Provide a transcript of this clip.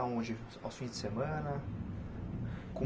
Aonde aos fim de semana?